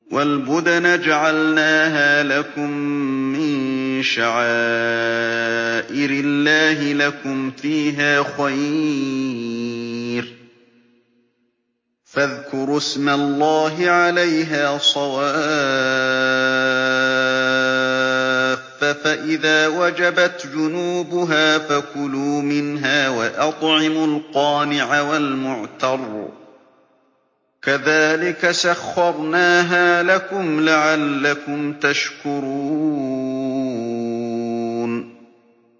وَالْبُدْنَ جَعَلْنَاهَا لَكُم مِّن شَعَائِرِ اللَّهِ لَكُمْ فِيهَا خَيْرٌ ۖ فَاذْكُرُوا اسْمَ اللَّهِ عَلَيْهَا صَوَافَّ ۖ فَإِذَا وَجَبَتْ جُنُوبُهَا فَكُلُوا مِنْهَا وَأَطْعِمُوا الْقَانِعَ وَالْمُعْتَرَّ ۚ كَذَٰلِكَ سَخَّرْنَاهَا لَكُمْ لَعَلَّكُمْ تَشْكُرُونَ